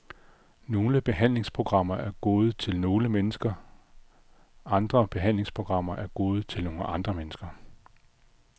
Nogle behandlingsprogrammer er gode til nogle mennesker, andre behandlingsprogrammer er gode til nogle andre mennesker.